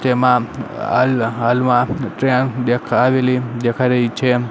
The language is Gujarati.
તેમાં અલ હાલમાં ટ્રેન દેખા આવેલી દેખાય રહી છે.